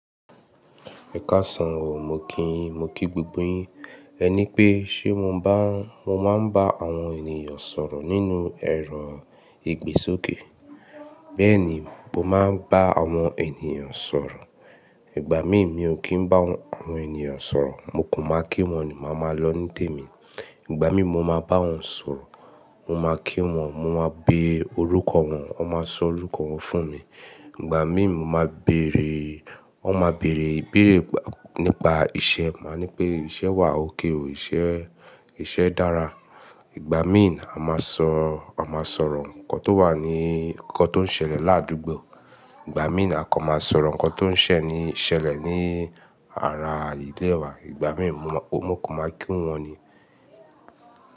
Ẹ káàsán o, mo kí i, mo kí gbogbo yín. Ẹ ní pé ṣé mo máa ń bá àwọn ènìyàn sọ̀rọ̀ nínú ẹ̀rọ ìgbésókè? Bẹ́ẹ̀ni, mo máa ń bá àwọn ènìyàn sọ̀rọ̀. Ìgbà mí mi ò kí ń bá àwọn ènìyàn sọ̀rọ̀, mo kò máa kí wọ́n ni, màá máa lọ ní tèmi. Ìgbà mí mo máa bá wọn sọ̀rọ̀, mo máa kí wọ́n, mo máa bé orúkọ wọn, wọ́n máa sọ orúkọ wọn fún mi. Ìgbà mí mo máa bèèrè, wọ́n máa bèèrè ìbéèrè nípa iṣẹ́, màá ní pé iṣẹ́ wà ok o, iṣẹ́ dára. Ìgbà mí a máa sọ, a máa sọ̀rọ̀ ǹkan tó wà ní, ǹkan tó ń ṣẹlẹ̀ ládùúgbò. Ìgbà mí ni a máa sọ̀rọ̀ ǹkan tó ń ṣẹlẹ̀ ní ara ilé ẹ wa. Ìgbà mí mo kò máa kí wọ́n ni.